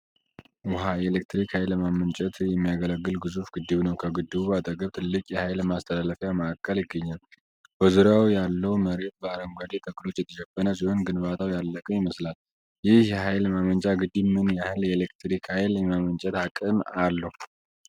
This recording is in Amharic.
ውኃ የኤሌክትሪክ ኃይል ለማመንጨት የሚያገለግል ግዙፍ ግድብ ነው። ከግድቡ አጠገብ ትልቁ የኃይል ማስተላለፊያ ማዕከል ይገኛል። በዙሪያው ያለው መሬት በአረንጓዴ ተክሎች የተሸፈነ ሲሆን ግንባታው ያለቀ ይመስላል። ይህ የኃይል ማመንጫ ግድብ ምን ያህል የኤሌክትሪክ ኃይል የማመንጨት አቅም አለው?